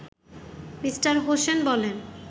me: Hossain বলেন